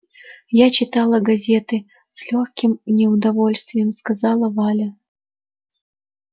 я читала газеты с лёгким неудовольствием сказала валя